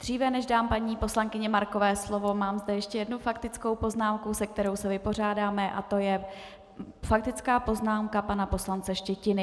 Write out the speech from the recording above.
Dříve než dám paní poslankyni Markové slovo, má tu ještě jednu faktickou poznámku, se kterou se vypořádáme, a to je faktická poznámka pana poslance Štětiny.